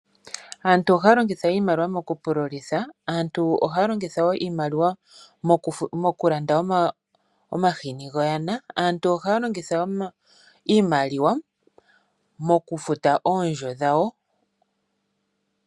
Aantu ohaa longitha iimaliwa mokupululitha, aantu ohaa longitha wo iimaliwa mokulanda omahini go yana, aantu ohaa longitha wo iimaliwa mokufuta oondjo dhayo.